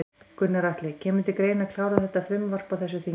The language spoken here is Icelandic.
Gunnar Atli: Kemur til greina að klára þetta frumvarp á þessu þingi?